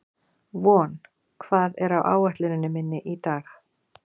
Von, hvað er á áætluninni minni í dag?